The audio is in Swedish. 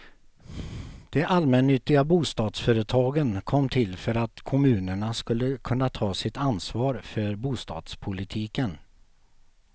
De allmännyttiga bostadsföretagen kom till för att kommunerna skulle kunna ta sitt ansvar för bostadspolitiken.